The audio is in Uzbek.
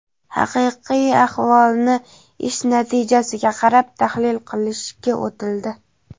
haqiqiy ahvolni ish natijasiga qarab tahlil qilishga o‘tildi.